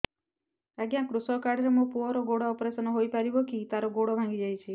ଅଜ୍ଞା କୃଷକ କାର୍ଡ ରେ ମୋର ପୁଅର ଗୋଡ ଅପେରସନ ହୋଇପାରିବ କି ତାର ଗୋଡ ଭାଙ୍ଗି ଯାଇଛ